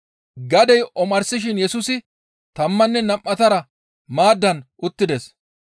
Gadey omarsishin Yesusi tammanne nam7atara maaddan uttides.